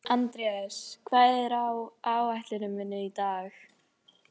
Það vantaði samt matarlyst í röddina.